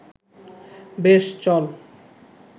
বেশ, চল